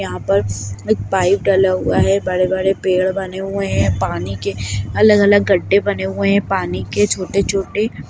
यहां पर एक पाइप डला हुआ है बड़े-बड़े पेड़ बने हुए है पानी के अलग-अलग गड्डे बने हुए है पानी के छोटे-छोटे--